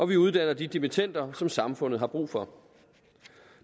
vi uddanner de dimittender som samfundet har brug for